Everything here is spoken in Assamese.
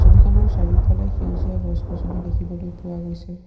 ছবিখনৰ চাৰিওফালে সেউজীয়া গছ-গছনি দেখিবলৈ পোৱা গৈছে।